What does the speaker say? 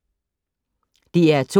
DR2